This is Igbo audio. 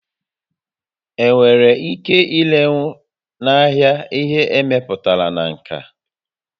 Enwere ike irenwu n'ahịa ihe e mepụtara na nka?